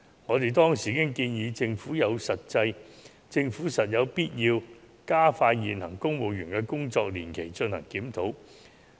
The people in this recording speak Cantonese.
我們當時建議政府有必要加快就現行公務員的工作年期進行檢討。